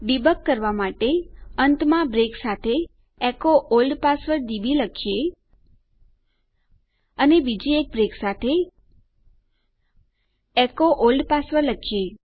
debug ભૂલ સુધારણા કરવા માટે અંતમાં બ્રેક સાથે એચો ઓલ્ડ પાસવર્ડ ડીબી લખીએ અને બીજી બ્રેક સાથે એચો ઓલ્ડ પાસવર્ડ લખીએ